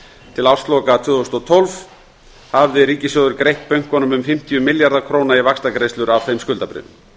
til ársloka tvö þúsund og tólf hafði ríkissjóður greitt bönkunum um fimmtíu milljarða króna í vaxtagreiðslur af þeim skuldabréfum